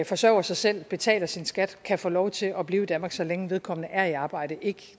forsørger sig selv og betaler sin skat kan få lov til at blive i danmark så længe vedkommende er i arbejde ikke